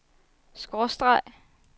skråstreg